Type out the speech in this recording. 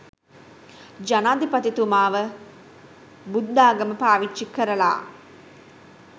ජනාධිපතිතුමාව බුද්ධාගම පාවිච්චි කරලා